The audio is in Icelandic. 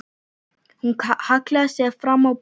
Hún hallaði sér fram á borðið.